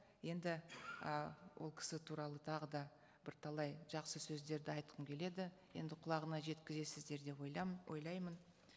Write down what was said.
енді ы ол кісі туралы тағы да бірталай жақсы сөздерді айтқым келеді енді құлағына жеткізесіздер деп ойлаймын